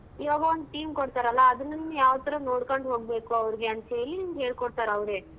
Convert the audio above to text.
ಇವಾಗ ಒಂದ್ team ಕೊಡ್ತಾರಲ್ಲ ಅದನ್ ನೀನು ಯಾವ್ತರ ನೋಡ್ಕೊಂಡ್ ಹೋಗ್ಬೇಕು ಅವ್ರ್ಗೆ ಅಂತ್ ಹೇಳಿ ಹೇಳ್ಕೊಡ್ತಾರ್ ಅವ್ರೆ.